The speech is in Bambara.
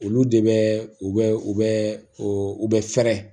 Olu de bɛ u bɛ u bɛ u bɛ fɛrɛ